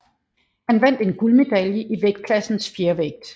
Han vandt en guldmedalje i vægtklassen fjervægt